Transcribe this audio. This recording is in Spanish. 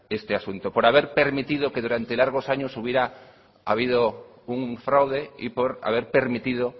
este asunto por haber permitido que durante largos años hubiera habido un fraude y por haber permitido